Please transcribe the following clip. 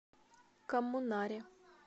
коммунаре